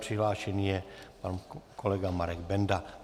Přihlášený je pan kolega Marek Benda.